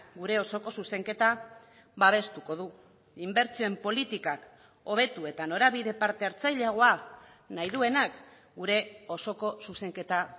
gure osoko zuzenketa babestuko du inbertsioen politikak hobetu eta norabide parte hartzaileagoa nahi duenak gure osoko zuzenketa